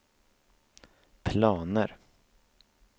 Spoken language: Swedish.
planer